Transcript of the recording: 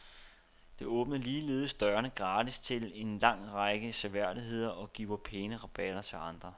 Det åbner ligeledes dørene gratis til en lang række seværdigheder og giver pæne rabatter til andre.